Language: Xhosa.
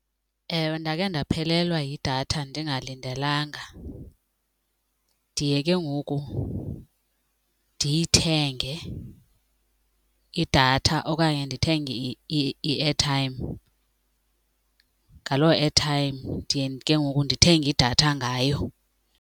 Ewe, ndake ndaphelelwa yidatha ndingalindelanga. Ndiye ke ngoku ndiyithenge idatha okanye ndithenge i-airtime, ngaloo airtime ndiye ke ngoku ndithenge idatha ngayo.